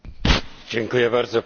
Panie Przewodniczący!